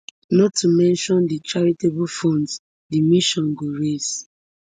not to mention di charitable funds di mission go raise